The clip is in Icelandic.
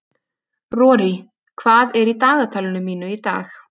Rorí, hvað er í dagatalinu mínu í dag?